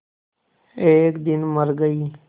एक दिन मर गई